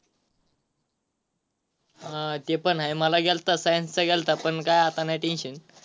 हा ते पण आहे मला गेलता science चा गेलता पण काय आता नाही tension.